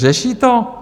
Řeší to?